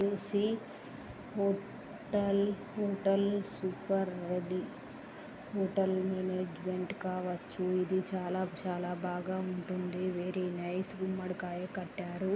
హో టల్ hotel super ready hotel management కావచ్చూ. ఇది చాల చాలా బాగా ఉంటుంది.వెరీ నైస్ . గుమ్మడి కాయ కట్టారు.